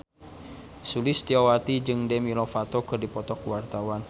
Sulistyowati jeung Demi Lovato keur dipoto ku wartawan